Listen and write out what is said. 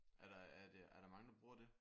Er der er det er der mange der bruger det?